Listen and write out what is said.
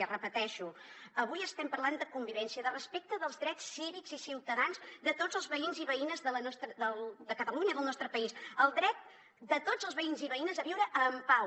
ho repeteixo avui estem parlant de convivència de respecte dels drets cívics i ciutadans de tots els veïns i veïnes de catalunya del nostre país el dret de tots els veïns i veïnes a viure en pau